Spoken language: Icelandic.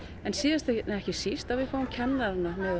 en síðast en ekki síst að við fáum kennarana